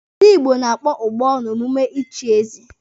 Ndi Igbo na-akpọ ụbọ n'omume ịchị eze.